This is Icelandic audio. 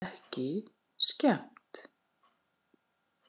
Ekki skemmt.